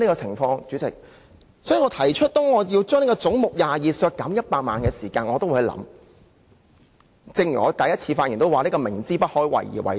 所以，我提出削減總目22下的100萬元開支，便正如我在首次發言時說，這是知不可為而為之。